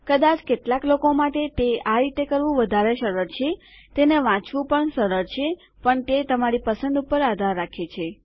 કદાચ કેટલાક લોકો માટે તે આ રીતે કરવું વધારે સરળ છેતેને વાંચવું પણ સરળ છે પણ તે તમારી પસંદ ઉપર આધાર રાખે છે